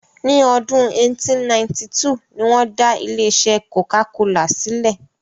Ní ọdún 1892 ni wọn dá ilé-isẹ́ "Coca-Cola" silẹ.